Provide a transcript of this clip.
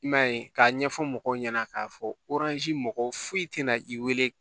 I m'a ye k'a ɲɛfɔ mɔgɔw ɲɛna k'a fɔ mɔgɔw foyi tɛna i wele